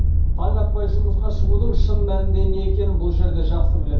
таң атпай жұмысқа шығудың шын мәнінде не екенін бұл жерде жақсы біледі